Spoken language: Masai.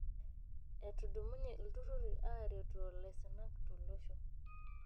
Etudumunye ilturruri aaretoo laisinak tolosho.